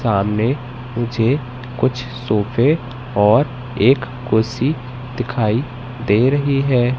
सामने मुझे कुछ सोफे और एक कुर्सी दिखाई दे रही है।